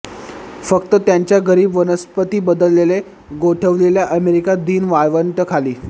फक्त त्याच्या गरीब वनस्पती बदलले गोठविलेल्या अमेरिका दीन वाळवंट खाली